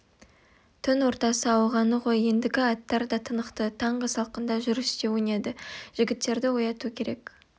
түн ортасы ауғаны ғой ендігі аттар да тынықты таңғы салқында жүріс те өнеді жігіттерді ояту керек